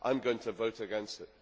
I am going to vote against it.